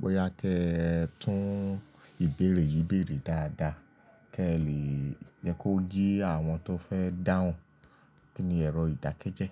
Boya kí ẹ tún ìbéèrè yìn bèèrè dáadáa kí ẹ lè yẹ kó ye àwọn tó fẹ́ dáhùn. Kí ni ẹ̀rọ ìdákẹ́jẹ́?